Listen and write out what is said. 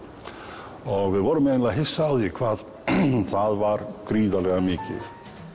og við vorum eiginlega hissa á því hvað það var gríðarlega mikið